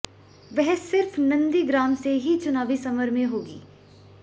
वह सिर्फ नंदीग्राम से ही चुनावी समर में होंगी